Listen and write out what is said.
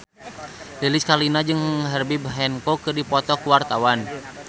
Lilis Karlina jeung Herbie Hancock keur dipoto ku wartawan